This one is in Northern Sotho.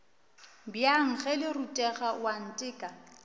bjang ge le rutega oanteka